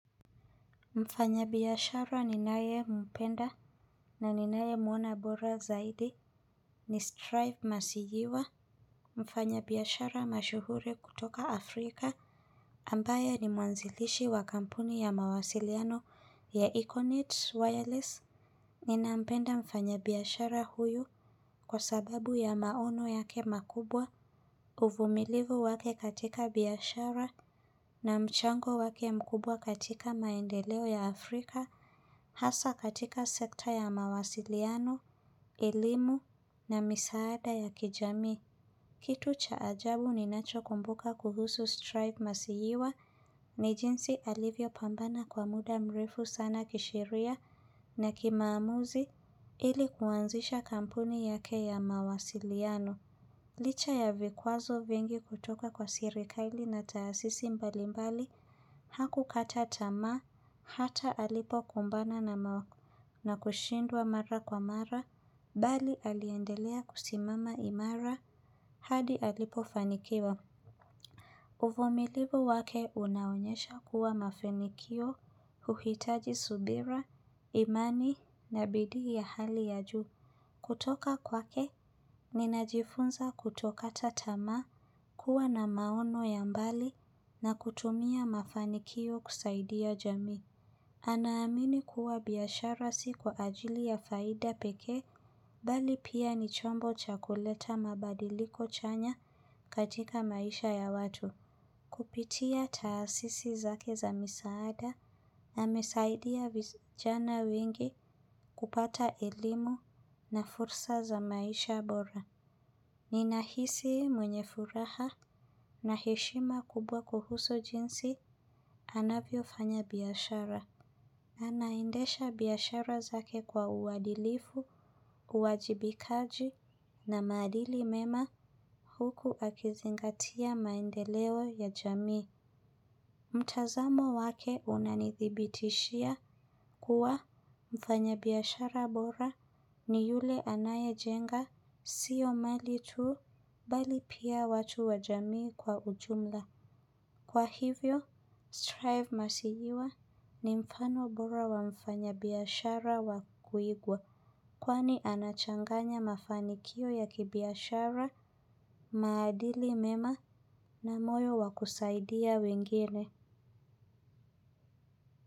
Mfanyabiashara ninayempenda na ninayemwona bora zaidi ni strive masijiwa mfanyabiashara mashuhuri kutoka Afrika ambaye ni mwanzilishi wa kampuni ya mawasiliano ya Econet Wireless. Ninampenda mfanyabiashara huyu kwa sababu ya maono yake makubwa. Uvumilivu wake katika biashara na mchango wake mkubwa katika maendeleo ya Afrika. Hasa katika sekta ya mawasiliano, elimu na misaada ya kijami. Kitu cha ajabu ninachokumbuka kuhusu strive masihiwa ni jinsi alivyopambana kwa muda mrefu sana kisheria na kimaamuzi. Ili kuanzisha kampuni yake ya mawasiliano. Licha ya vikwazo vingi kutoka kwa serikaili na taasisi mbalimbali, hakukata tamaa, hata alipokumbana na wao na kushindwa mara kwa mara, bali aliendelea kusimama imara hadi alipofanikiwa. Uvumilivu wake unaonyesha kuwa mafanikio, uhitaji subira, imani, na bidii ya hali ya juu. Kutoka kwake, ninajifunza kutokata tamaa, kuwa na maono ya mbali, na kutumia mafanikio kusaidia jamii. Anaamini kuwa biashara si kwa ajili ya faida pekee, bali pia ni chombo cha kuleta mabadiliko chanya katika maisha ya watu. Kupitia taasisi zake za misaada amesaidia vijana wengi kupata elimu na fursa za maisha bora. Ninahisi mwenye furaha na heshima kubwa kuhusu jinsi anavyofanya biashara. Anaendesha biashara zake kwa uadilifu, uwajibikaji na maadili mema huku akizingatia maendeleo ya jamii. Mtazamo wake unanithibitishia kuwa mfanyabiashara bora ni yule anayejenga siyo mali tu bali pia watu wa jamii kwa ujumla. Kwa hivyo, Strive Masijiwa ni mfano bora wa mfanyabiashara wa kuigwa kwani anachanganya mafanikio ya kibiashara maadili mema na moyo wa kusaidia wengine.